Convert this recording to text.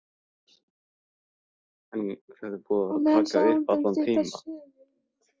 Á meðan sagði hún þeim stutta sögu.